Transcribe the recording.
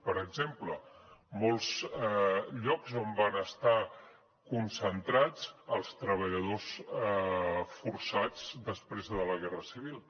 per exemple molts llocs on van estar concentrats els treballadors forçats després de la guerra civil